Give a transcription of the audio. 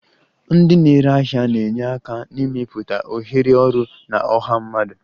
Ndị na-ere ahịa na-enye aka n'ịmepụta ohere ọrụ na ọha mmadụ